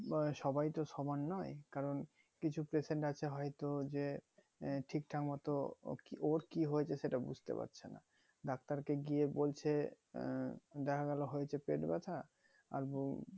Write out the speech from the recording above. বা সবাই তো সমান নোই কারণ কিছু patient আছে হয়তো যে ঠিক ঠাক মতো ওর কি হয়েছে সেটা বুঝতে পারছেনা ডাক্তার কে গিয়ে বলছে আহ দেখা গেলো হয়তো পেট ব্যাথা আর ব